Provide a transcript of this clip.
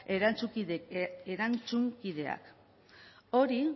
erantzunkideak hori